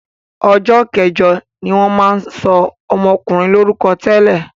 Ọjọ́ kẹjọ ni wọ́n máa ń sọ ọmọkùnrin lórúkọ tẹ́lẹ̀.